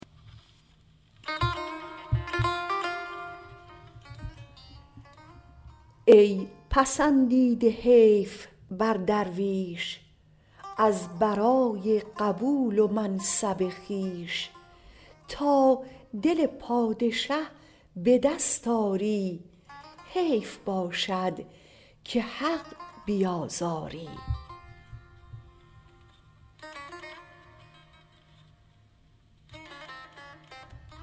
ای پسندیده حیف بر درویش از برای قبول و منصب خویش تا دل پادشه به دست آری حیف باشد که حق بیازاری